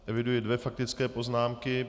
Eviduji dvě faktické poznámky.